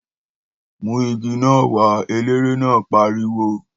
Mú igi náà wá! Eléré náà pariwo